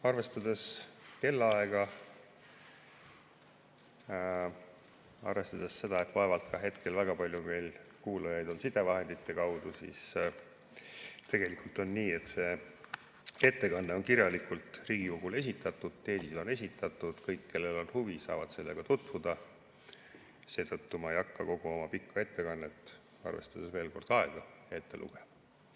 Arvestades kellaaega, arvestades seda, et vaevalt hetkel on väga palju kuulajaid sidevahendite kaudu – ja tegelikult on nii, et see ettekanne on kirjalikult Riigikogule esitatud, teesid on esitatud, kõik, kellel on huvi, saavad sellega tutvuda –, ei hakka ma kogu oma pika ettekannet, arvestades veel kord aega, ette lugema.